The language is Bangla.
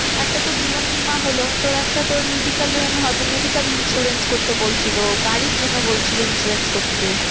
একটা তো জীবন বীমা হলো তোর একটা তোর medical run হবে medical insurance করতে বলছিলো গাড়ির জন্য বলছিলো insurance করতে।